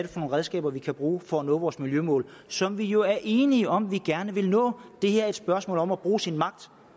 redskaber vi kan bruge for at nå vores miljømål som vi jo er enige om at vi gerne vil nå det her er et spørgsmål om at bruge sin magt